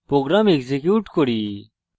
program execute করি